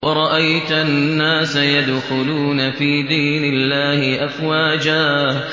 وَرَأَيْتَ النَّاسَ يَدْخُلُونَ فِي دِينِ اللَّهِ أَفْوَاجًا